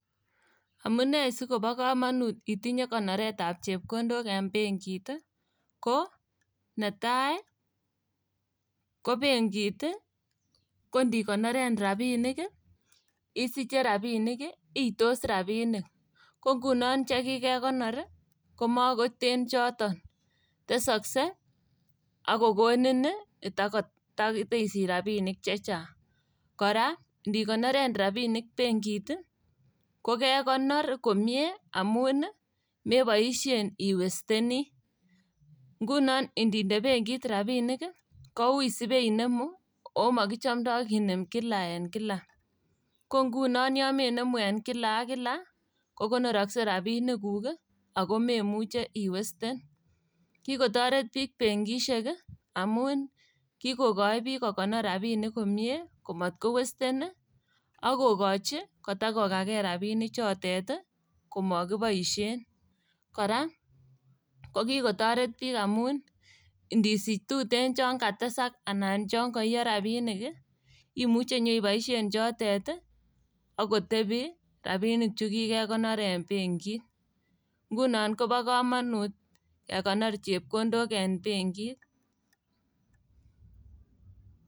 Amune sikobo komonut itinye konoretab chepkondok eng' benkit ii. Ko netai ii kobenkit kondikonoren rabinik isiche rabinik itos rabinik. Kongunon chekikekonor komokoten choton, tesokse ak kokonin itako iteisich rabinik chechang'. Kora ndikonoren rabinik benkit ii, kokekonor komie amun ii meboisien iwesteni. Ngunon ndinde benkit rabinik komoche koui ibenemu ogo mokichomdo kinem kila en kila. Kongunon yon menemu en kila ak kila kokonorokse rabinikuk ogo memuche iwesten. Kikotoret biik benkisiek ii amun kikokoi biik kokonor rabinik komie, komotkowesten ii ak kokochi kotakokakei rabinichotet komokiboisien. Kora kokikotoret biik amun ndisich tuten chon katesak anan koiyo rabinik ii imuche iboisien chotet ii ak kotebi rabinik chukikekonor en benkit. Ngunon kobo komonut kekonor chepkondok en benkit.